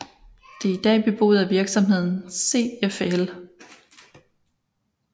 Det er i dag beboet at virksomheden CFL